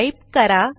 type करा